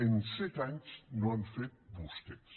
en set anys no han fet vostès